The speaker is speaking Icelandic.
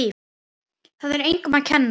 Það er engum að kenna.